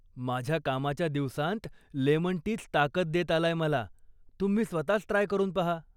माझ्या कामाच्या दिवसांत 'लेमन टी'च ताकद देत आलाय मला, तुम्ही स्वतःच ट्राय करून पहा.